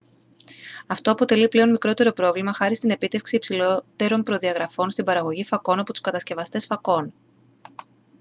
αυτό αποτελεί πλέον μικρότερο πρόβλημα χάρη στην επίτευξη υψηλότερων προδιαγραφών στην παραγωγή φακών από τους κατασκευαστές φακών